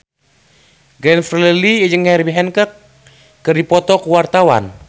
Glenn Fredly jeung Herbie Hancock keur dipoto ku wartawan